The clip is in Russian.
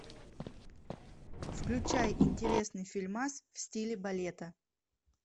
включай интересный фильмас в стиле балета